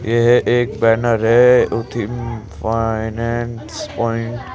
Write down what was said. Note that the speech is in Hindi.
यह एक बैनर है उथिम फाइनेंस प्वाइंट --